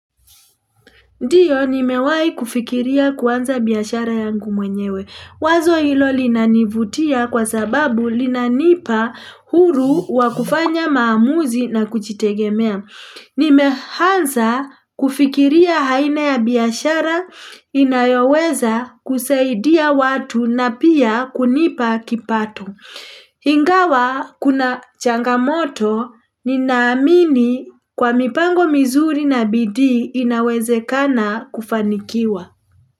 Ndio, nimewahi kufikiria kuanza biashara yangu mwenyewe. Wazo hilo linanivutia kwa sababu linanipa huru wa kufanya maamuzi na kujitegemea. Nimeanza kufikiria aina ya biashara inayoweza kusaidia watu na pia kunipa kipato. Ingawa kuna changamoto, ninaamini kwa mipango mizuri na bidii inawezekana kufanikiwa.